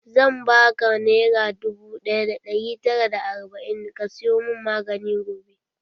Zan baka nera dubu ɗaya da ɗari tara da arba'in ka sayo mun magani gobe.